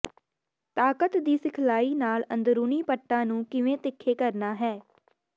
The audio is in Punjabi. ਤਾਕਤ ਦੀ ਸਿਖਲਾਈ ਨਾਲ ਅੰਦਰੂਨੀ ਪੱਟਾਂ ਨੂੰ ਕਿਵੇਂ ਤਿੱਖੇ ਕਰਨਾ ਹੈ